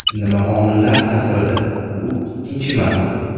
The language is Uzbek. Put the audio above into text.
Nima omillar ta’sirida bu ikkinchi masala.